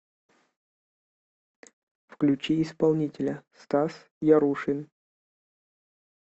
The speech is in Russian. включи исполнителя стас ярушин